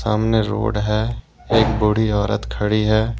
सामने रोड है एक बूढी औरत खड़ी है।